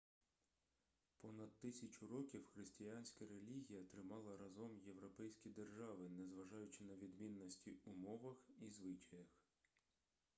понад тисячу років християнська релігія тримала разом європейські держави незважаючи на відмінності у мовах і звичаях